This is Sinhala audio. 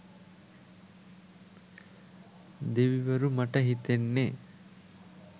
දෙවිවරු මට හිතෙන්නෙ